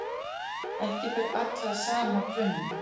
Ekki ber alla að sama brunni.